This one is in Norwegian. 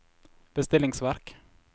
bestillingsverk